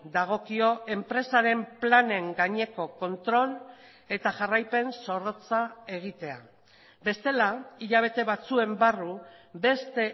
dagokio enpresaren planen gaineko kontrol eta jarraipen zorrotza egitea bestela hilabete batzuen barru beste